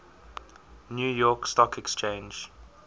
new york stock exchange